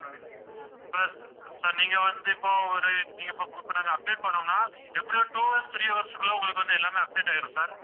sir sir நீங்க வந்து இப்ப ஒரு நீங்க இப்ப நாங்க update பண்ணோம்னா, எப்படியும் ஒரு two hours, three hours க்குள்ள உங்களுக்கு வந்து எல்லாமே update ஆயிரும் sir